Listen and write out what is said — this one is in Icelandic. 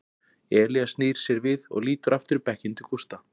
Elías snýr sér við og lítur aftur í bekkinn til Gústa.